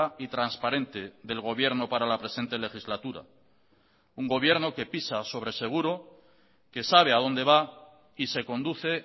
y transparente del gobierno para la presente legislatura un gobierno que pisa sobre seguro que sabe a dónde va y se conduce